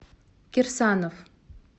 кирсанов